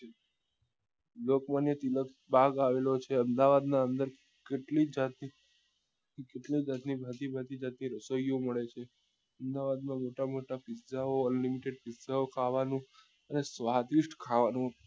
લોકમાન્ય તિલક બાગ આવેલો છે અમદાવાદ ની અંદર કેટલી જાત ની કેટલી જાત બધી જાત ની રસોઈઓ મળે છે અમદાવાદ માં મોટા મોટા pizza ઓ unlimited pizza ઓ ખાવા નું અને સ્વાદિષ્ટ ખાવા નું